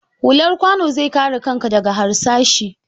Hullar kwanu zai kare kanka daga harsashai.